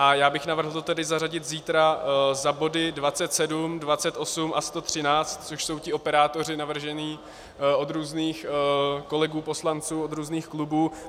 A já bych navrhl to tedy zařadit zítra za body 27, 28 a 113, což jsou ti operátoři navržení od různých kolegů poslanců, od různých klubů.